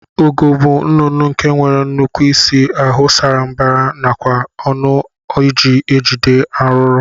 Ugo bu nnụnụ nke nwere nnukwu isi ahu sara mbara nakwa ọnụ oji ejide arụrụ